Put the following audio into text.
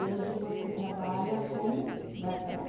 E hoje você trabalha como garçone?